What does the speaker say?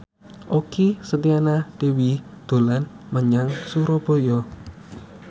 Okky Setiana Dewi dolan menyang Surabaya